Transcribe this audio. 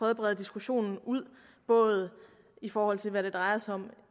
at brede diskussionen ud både i forhold til hvad det drejer sig om